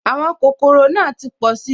Àwọn kòkòrò náà ti pọ̀si